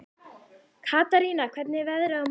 Katarína, hvernig er veðrið á morgun?